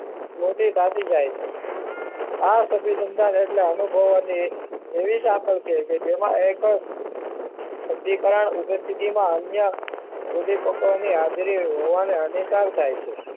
સ્મુતી ફાટી જાય છે આ સભી સંતાન અનુભવો એવી સાંકળ છે કે જેમાં એક બુદ્ધિ પાક ઉદ્ધિશ સ્થિતિમાં અન્ય ઉદ્દીપકોની હાજરીમાં હોવાની અને સાવ થાય છે